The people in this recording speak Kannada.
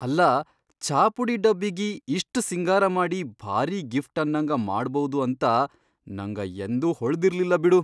ಅಲ್ಲಾ ಛಾಪುಡಿ ಡಬ್ಬಿಗಿ ಇಷ್ಟ್ ಸಿಂಗಾರ ಮಾಡಿ ಭಾರಿ ಗಿಫ್ಟ್ ಅನ್ನಂಗ ಮಾಡ್ಬೌದು ಅಂತ ನಂಗ ಯಂದೂ ಹೊಳದಿರ್ಲಿಲ್ಲ ಬಿಡು.